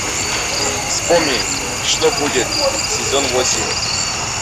вспомни что будет сезон восемь